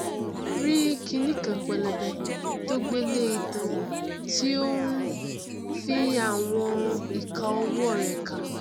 rí kiní kan pẹlẹbẹ tó gbé lé itan tí ó n fi àwọn ìka ọwọ rẹ ka